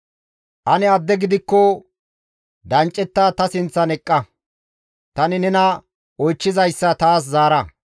Ane adde gidikko danccetta ta sinththan eqqa; tani nena oychchizayssa taas zaara.